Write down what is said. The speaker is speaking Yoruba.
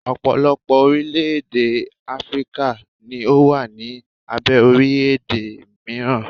ọpọlọpọ orilẹ ede Afirika ni o wa ni abe orilẹ ede miran